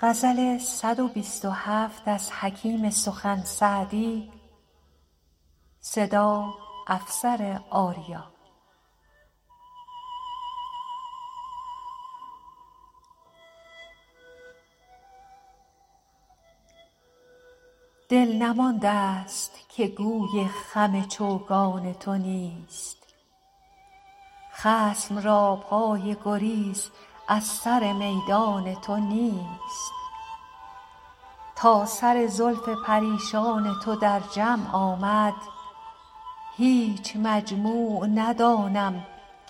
دل نمانده ست که گوی خم چوگان تو نیست خصم را پای گریز از سر میدان تو نیست تا سر زلف پریشان تو در جمع آمد هیچ مجموع ندانم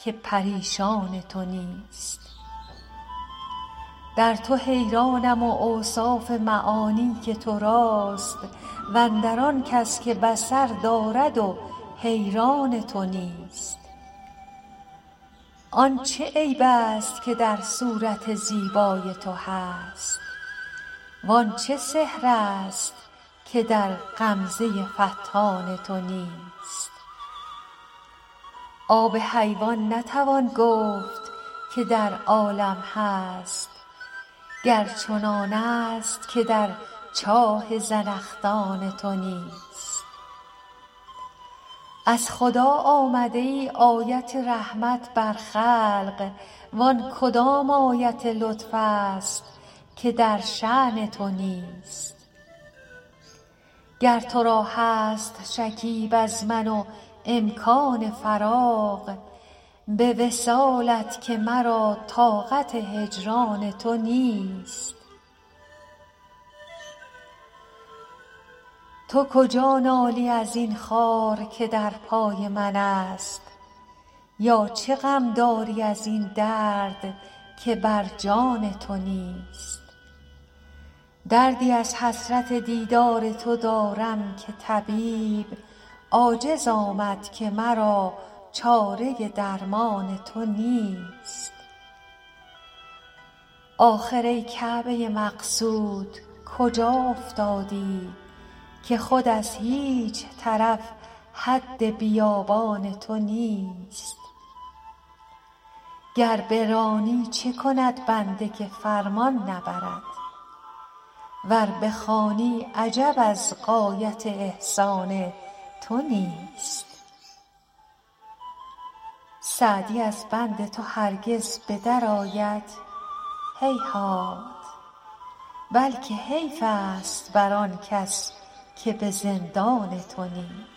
که پریشان تو نیست در تو حیرانم و اوصاف معانی که تو راست و اندر آن کس که بصر دارد و حیران تو نیست آن چه عیب ست که در صورت زیبای تو هست وان چه سحر ست که در غمزه فتان تو نیست آب حیوان نتوان گفت که در عالم هست گر چنانست که در چاه زنخدان تو نیست از خدا آمده ای آیت رحمت بر خلق وان کدام آیت لطف ست که در شأن تو نیست گر تو را هست شکیب از من و امکان فراغ به وصالت که مرا طاقت هجران تو نیست تو کجا نالی از این خار که در پای منست یا چه غم داری از این درد که بر جان تو نیست دردی از حسرت دیدار تو دارم که طبیب عاجز آمد که مرا چاره درمان تو نیست آخر ای کعبه مقصود کجا افتادی که خود از هیچ طرف حد بیابان تو نیست گر برانی چه کند بنده که فرمان نبرد ور بخوانی عجب از غایت احسان تو نیست سعدی از بند تو هرگز به درآید هیهات بلکه حیف ست بر آن کس که به زندان تو نیست